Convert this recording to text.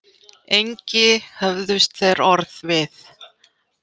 Engi höfðust þeir orð við.